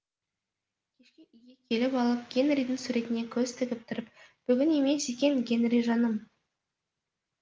келіп алып гэнридің суретіне көз тігіп тұрып бүгін емес екен гэнри жаным